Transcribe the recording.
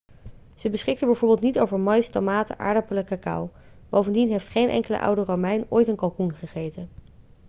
ze beschikten bijvoorbeeld niet over maïs tomaten aardappelen cacao bovendien heeft geen enkele oude romein ooit een kalkoen gegeten